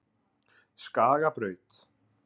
Skagabraut